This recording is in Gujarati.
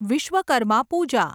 વિશ્વકર્મા પૂજા